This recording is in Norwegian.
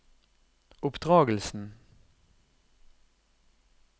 oppdragelsen